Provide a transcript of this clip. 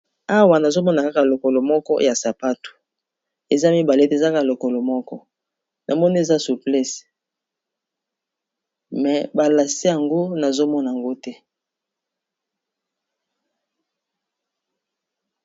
Awa nazomona kaka lokolo moko ya sapato eza mibale ete ezaka lokolo moko na moni eza suplesse me ba lasse yango nazomona ngo te !